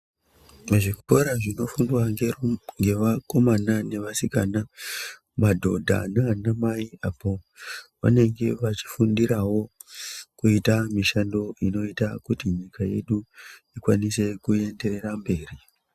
Muzvikora zvinofundwa ngeru ngevakomana nevasinaka , madhodha nanamai apo vanenge vachifundirawo kuita mishando inoita kuti nyika yedu ikwanise kuenderera mberi.